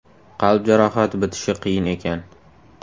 Qalb jarohati bitishi qiyin ekan.